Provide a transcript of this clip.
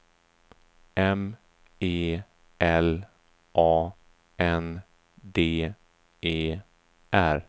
M E L A N D E R